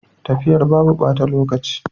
Tafiyar babu bata lokaci.